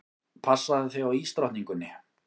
Passaðu þig á ísdrottningunni.